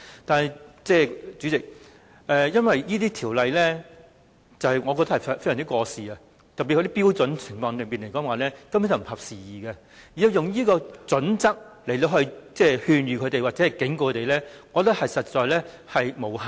但是，主席，我認為有關條例已經非常過時，特別是有關標準根本不合時宜，如果根據有關準則來勸諭或警告院舍，我認為根本無效。